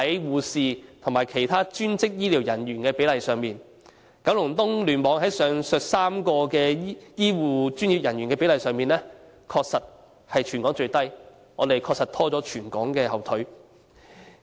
護士和其他專職醫療人員的比例亦出現同樣的情況，在九龍東聯網內，上述3類醫護專業人員的比例的確是全港最低，確實拖了全港的後腿。